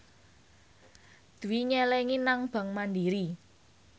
Dwi nyelengi nang bank mandiri